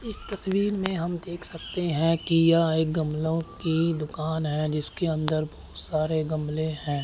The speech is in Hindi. इस तस्वीर में हम देख सकते हैं कि यह गमलों की दुकान है जिसके अंदर बहुत सारे गमले हैं।